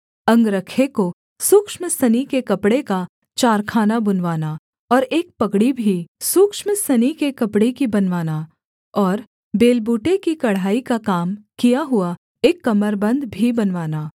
अंगरखे को सूक्ष्म सनी के कपड़े का चारखाना बुनवाना और एक पगड़ी भी सूक्ष्म सनी के कपड़े की बनवाना और बेलबूटे की कढ़ाई का काम किया हुआ एक कमरबन्द भी बनवाना